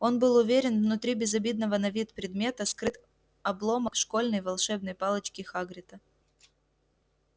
он был уверен внутри безобидного на вид предмета скрыт обломок школьной волшебной палочки хагрида